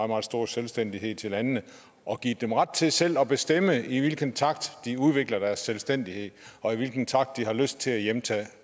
meget stor selvstændighed til landene og givet dem ret til selv at bestemme i hvilken takt de vil udvikle deres selvstændighed og i hvilken takt de har lyst til at hjemtage